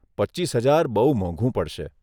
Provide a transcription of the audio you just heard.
પચીસ હજાર બહુ મોંઘુ પડશે.